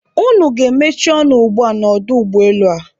Unu ga-emechi ọnụ ugbua n'ọdụ ụgbọelu a!